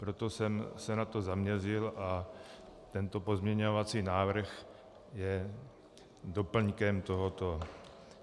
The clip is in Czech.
Proto jsem se na to zaměřil a tento pozměňovací návrh je doplňkem tohoto.